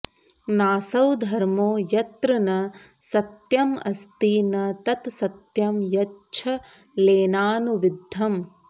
नासौ धर्मो यत्र न सत्यमस्ति न तत्सत्यं यच्छलेनानुविद्धम्